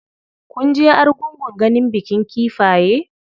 Kunje argungun ganin bikin kifaye?